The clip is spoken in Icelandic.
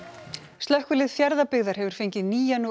slökkvilið Fjarðabyggðar hefur fengið nýjan og